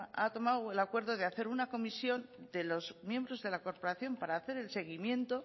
ha tomado el acuerdo de hacer una comisión de los miembros de la corporación para hacer el seguimiento